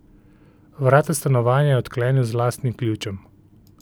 Vrata stanovanja je odklenil z lastnim ključem.